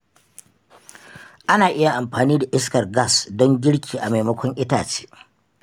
Ana iya amfani da iskar gas don girki a maimakon itace.